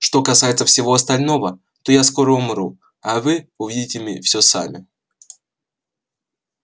что касается всего остального то я скоро умру а вы увидите все сами